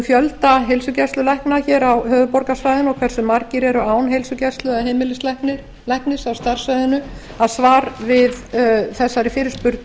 fjölda heilsugæslulækna á höfuðborgarsvæðinu og hversu margir eru án heilsugæslu eða heimilislæknis á starfssvæðinu fá svar við þessari fyrirspurn